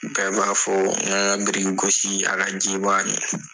Bɛɛ b'a fɔ n ka n ka biriki gosi a ka ji